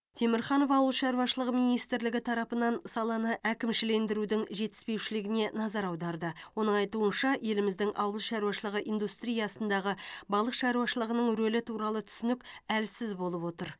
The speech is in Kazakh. темірханов ауыл шаруашылығы министрлігі тарапынан саланы әкімшілендірудің жетіспеушілігіне назар аударды оның айтуынша еліміздің ауыл шаруашылығы индустриясындағы балық шаруашылығының рөлі туралы түсінік әлсіз болып отыр